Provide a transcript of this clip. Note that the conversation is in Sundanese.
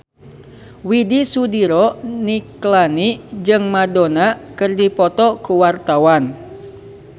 Widy Soediro Nichlany jeung Madonna keur dipoto ku wartawan